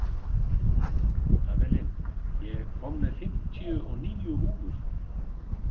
Avelin, ég kom með fimmtíu og níu húfur!